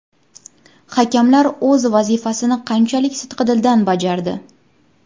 Hakamlar o‘z vazifasini qanchalik sidqidildan bajardi?